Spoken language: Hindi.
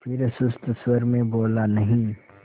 फिर सुस्त स्वर में बोला नहीं